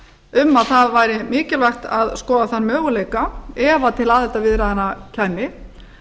um að það væri mikilvægt að skoða þann möguleika ef til aðildarviðræðna kæmi